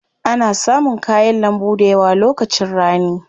Ana samun kayan lambu dayawa lokacin rani.